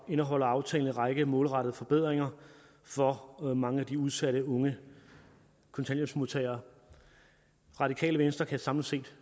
indeholder aftalen en række målrettede forbedringer for mange af de udsatte unge kontanthjælpsmodtagere radikale venstre kan samlet set